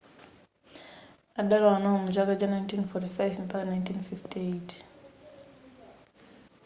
adalowa nawo mu chaka cha 1945 mpaka 1958